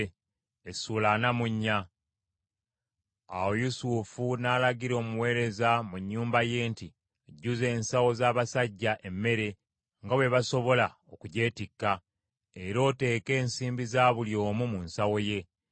Awo Yusufu n’alagira omuweereza mu nnyumba ye nti, “Jjuza ensawo z’abasajja emmere nga bwe basobola okugyetikka, era oteeke ensimbi za buli omu mu nsawo ye.